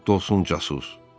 Rədd olsun casus!